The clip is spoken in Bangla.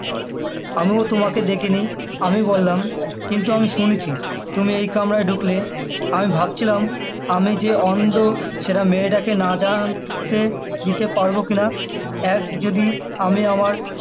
আমিও তোমাকে দেখে নি আমি বললাম কিন্তু আমি শুনেছি তুমি এই কামরায় ঢুকলে আমি ভাবছিলাম আমি যে অন্ধ সেটা মেয়েটাকে না যান~ তে দিতে পারবো কিনা এক যদি আমি আমার